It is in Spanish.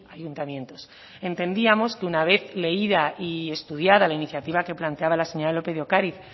ayuntamientos entendíamos que una vez leída y estudiada la iniciativa que planteaba la señora lópez de ocariz